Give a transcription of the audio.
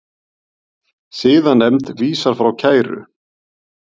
Siðanefnd vísar frá kæru